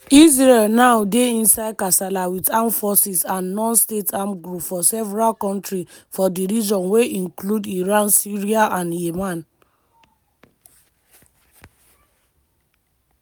israel now dey inside kasala wit armed forces and non-state armed groups for several kontris for di region wey include iran syria and yemen.